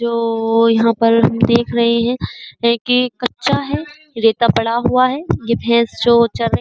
जो यहाँ पर हम देख रहे है है कि कच्चा है रेता पड़ा हुआ है। ये भैस जो चर रही --